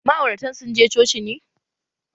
Ma'auratan sun je coci ne?